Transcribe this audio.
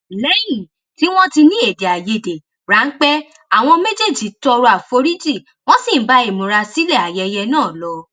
léyìn tí wón ti ní èdè àìyedè ránpẹ àwọn méjèèjì tọrọ àforíjì wón sì ń bá ìmúrasílè ayẹyẹ náà lọ